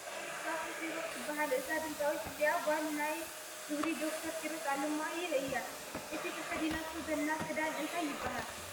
ድምፃዊት ዛፉ ኪሮስ ትባሃል እዛ ድምፃዊት እዚኣ ጓል ናይ ክብሪ ዶ/ር ኪሮስ ኣለማዮህ እያ ። እቲ ተከዲናቶ ዘላ ክዳን እንታይ ይባሃል ?